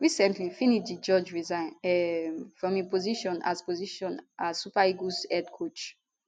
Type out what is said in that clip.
recently finidi george resign um from im position as position as super eagles head coach